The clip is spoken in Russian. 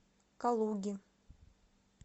калуги